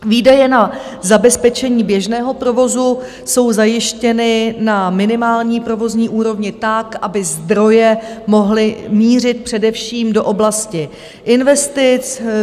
Výdaje na zabezpečení běžného provozu jsou zajištěny na minimální provozní úrovni tak, aby zdroje mohly mířit především do oblasti investic.